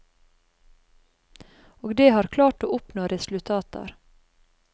Og det har klart å oppnå resultater.